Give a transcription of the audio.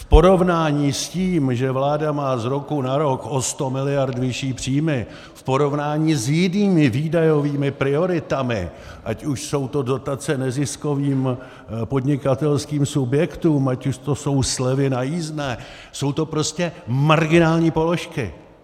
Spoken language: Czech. V porovnání s tím, že vláda má z roku na rok o 100 miliard vyšší příjmy, v porovnání s jinými výdajovými prioritami, ať už jsou to dotace neziskovým podnikatelským subjektům, ať už to jsou slevy na jízdném, jsou to prostě marginální položky.